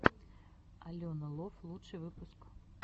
алена лов лучший выпуск